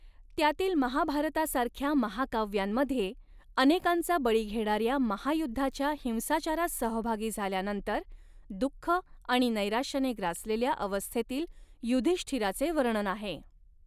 त्यातील महाभारतासारख्या महाकाव्यांमध्ये, अनेकांचा बळी घेणाऱ्या महायुद्धाच्या हिंसाचारात सहभागी झाल्यानंतर, दुःख आणि नैराश्याने ग्रासलेल्या अवस्थेतील युधिष्ठिराचे वर्णन आहे.